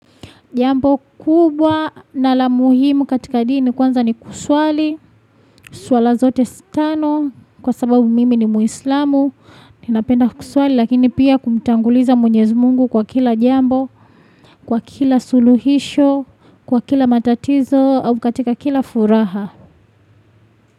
Jambo kubwa na la muhimu katika dini kwanza ni kuswali, swala zote tano kwa sababu mimi ni muislamu. Ninapenda kuswali lakini pia kumtanguliza mwenyezi mungu kwa kila jambo, kwa kila suluhisho, kwa kila matatizo au katika kila furaha.